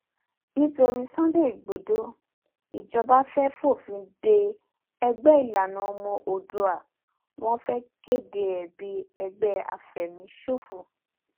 nítorí sunday igbodò ìjọba fẹẹ fòfin de ẹgbẹ ìlànà ọmọ òòdùà wọn fẹẹ kéde e bíi ẹgbẹ àfẹmíṣòfò